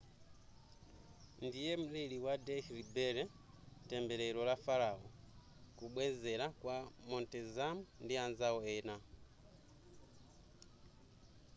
ndiye mlili wa dehli belly tembelero la farao kubwenzela kwa montezum ndi anzao ena